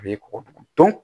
A b'i kɔkɔ dun